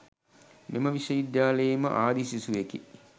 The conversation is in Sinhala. මෙම විශ්ව විද්‍යාලයේම ආදි සිසුවෙකි